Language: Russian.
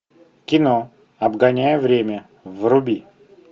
кино обгоняя время вруби